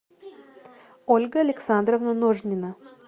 ольга александровна ножнина